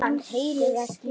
Hann heyrir ekki í henni.